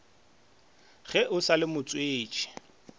ge o sa le motswetši